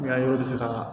N ka yɔrɔ bɛ se ka